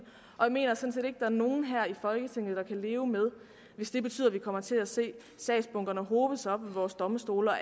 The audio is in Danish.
og jeg mener sådan er nogen her i folketinget der kan leve med hvis det betyder at vi kommer til at se sagsbunkerne hobe sig op ved vores domstole og